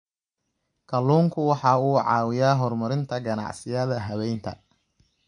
Kalluunku waxa uu caawiyaa horumarinta ganacsiyada habaynta.